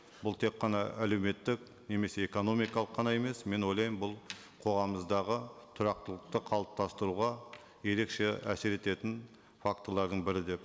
бұл тек қана әлеуметтік немесе экономикалық қана емес мен ойлаймын бұл қоғамымыздағы тұрақтылықты қалыптастыруға ерекше әсер ететін фактілердің бірі деп